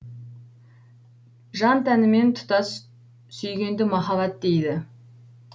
жан тәнімен тұтас сүйгенді махаббат дейді